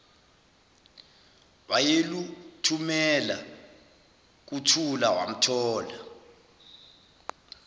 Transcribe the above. wayeluthumela kuthula wamthola